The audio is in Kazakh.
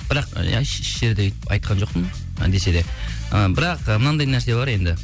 бірақ і деп айтқан жоқпын десе де ы бірақ ы мынандай нәрсе бар енді